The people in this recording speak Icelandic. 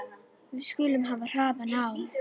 Við skulum hafa hraðann á.